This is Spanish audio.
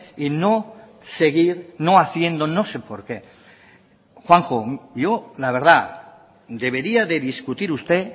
y no seguir no haciendo no sé por qué juanjo yo la verdad debería de discutir usted